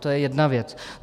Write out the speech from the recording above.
To je jedna věc.